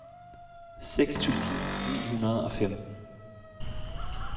seks tusind ni hundrede og femten